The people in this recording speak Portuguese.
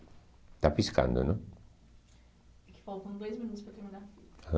Está piscando, não? É que faltam dois minutos para terminar a fita.